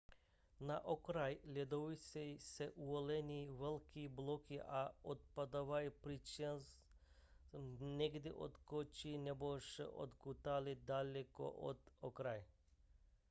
na okraji ledovců se uvolňují velké bloky a odpadávají přičemž někdy odskočí nebo se odkutálí daleko od okraje